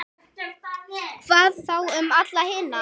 Hvað þá um alla hina?